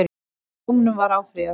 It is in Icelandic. Dómunum var áfrýjað